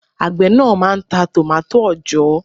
Àgbẹ̀ náà máà ń ta tòmátò òòjọ́